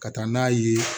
Ka taa n'a ye